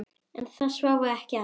En það sváfu ekki allir.